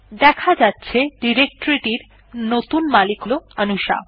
দেখা যাচ্ছে ডিরেকটরি এর নতুন মালিক অনুশা